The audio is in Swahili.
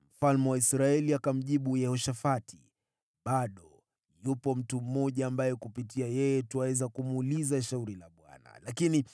Mfalme wa Israeli akamjibu Yehoshafati, “Bado yupo mtu mmoja ambaye kupitia yeye twaweza kumuuliza shauri la Bwana , lakini